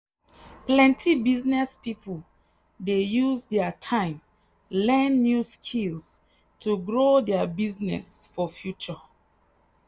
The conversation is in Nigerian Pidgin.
plenty business people dey use their time learn new skills to grow their business for future.